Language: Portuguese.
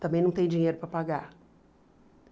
Também não tem dinheiro para pagar.